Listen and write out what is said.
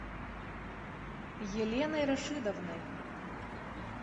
еленой рашидовной